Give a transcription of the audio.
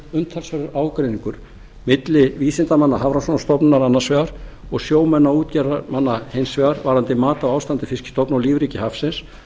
umtalsverður ágreiningur milli vísindamanna hafrannsóknastofnunar annars vegar og sjómanna og útgerðarmanna hins vegar varðandi mat á ástandi fiskstofna og lífríki hafsins